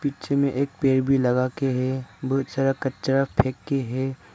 जिनमें एक पेड़ भी लगाके है। बहुत सारा कचरा फेंक के है।